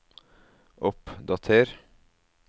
oppdater